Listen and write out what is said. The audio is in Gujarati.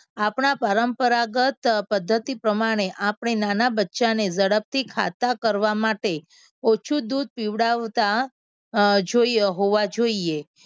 આપના પરંપરાગત પદ્ધતિ પ્રમાણે આપણે નાના બચ્ચાને ઝડપથી ખાતા કરવા માટે ઓછું દૂધ પીવડાવતા અમ જોઈએ હોવા જોઈએ.